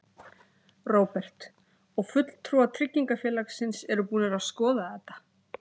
Róbert: Og fulltrúar tryggingafélagsins eru búnir að skoða þetta?